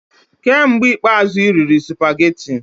Kee mgbe ikpeazụ ị rịrị supageti?